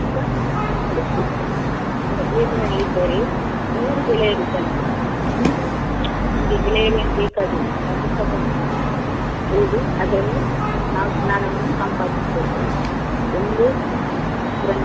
Book ಇದ್ದರೆ ನೂರು ಗೆಳೆಯರು ಇದ್ದಂತೆ ಹ್ಮ್‌ ನಮ್ಗೆ ಗೆಳೆಯರು ಏನು ಬೇಕಾಗಿಲ್ಲ ಆ ಪುಸ್ತಕವನ್ನು ಓದಿ ಅದ್ರಲ್ಲಿ ನಾವು ಜ್ಞಾನವನ್ನು ಸಂಪಾದಿಸ್ಕೊಳ್ಬೋದು ಎಲ್ಲಿ.